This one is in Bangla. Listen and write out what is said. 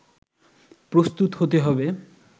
প্রস্তুত হতে হবে